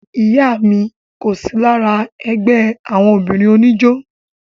ìyá mi kò sí lára ẹgbẹ́ àwọn obìnrin oníjó